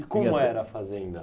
E como era a Fazenda?